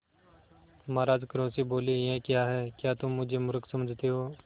महाराज क्रोध से बोले यह क्या है क्या तुम मुझे मुर्ख समझते हो